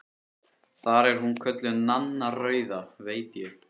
Þar er hún kölluð Nanna rauða, veit ég.